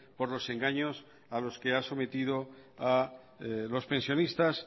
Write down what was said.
por los engaños a los que ha sometido a los pensionistas